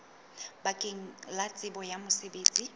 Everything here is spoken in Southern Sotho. bakeng la tsebo ya mosebetsi